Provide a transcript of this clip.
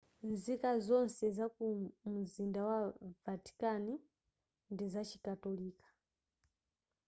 nzika nzonse zaku mumzinda wa vatican ndi zachikatolika